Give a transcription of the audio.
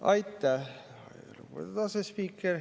Aitäh, lugupeetud asespiiker!